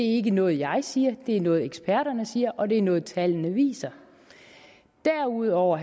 ikke noget jeg siger det er noget eksperterne siger og det er noget tallene viser derudover